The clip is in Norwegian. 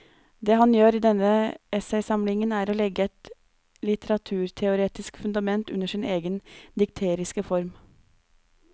Det han gjør i denne essaysamlingen er å legge et litteraturteoretisk fundament under sin egen dikteriske form.